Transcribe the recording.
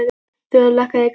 Þöll, lækkaðu í græjunum.